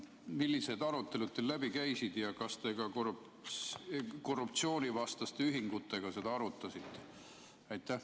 Millised arutelud teil läbi käisid ja kas te ka korruptsioonivastaste ühingutega seda arutasite?